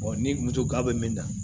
ni moto k'a bɛ min na